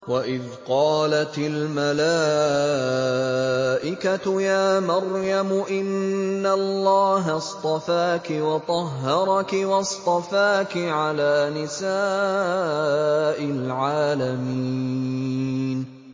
وَإِذْ قَالَتِ الْمَلَائِكَةُ يَا مَرْيَمُ إِنَّ اللَّهَ اصْطَفَاكِ وَطَهَّرَكِ وَاصْطَفَاكِ عَلَىٰ نِسَاءِ الْعَالَمِينَ